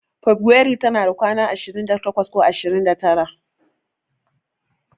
Feburairu tana da ranaku ashirin da takwas ko ashirin da tara.